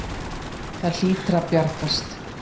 Það hlýtur að bjargast.